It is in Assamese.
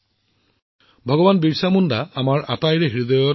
এই বিশেষ দিনটো ভগৱান বীৰছা মুণ্ডাৰ জন্ম বাৰ্ষিকীৰ লগত জড়িত